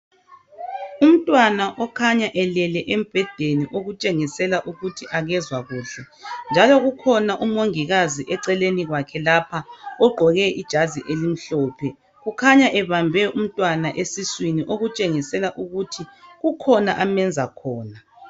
Umntwana okhanya elele embhedeni okutshengisela ukuthi akezwa kuhle njalo kukhona umongikazi eceleni kwakhe lapha ogqoke ijazi elimhlophe. Kukhanya ebambe umtnwana esiswini okutshengisela ukuthi kukhona amenza khona.